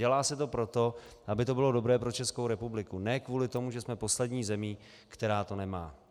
Dělá se to proto, aby to bylo dobré pro Českou republiku, ne kvůli tomu, že jsme poslední zemí, která to nemá.